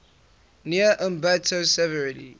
near ambato severely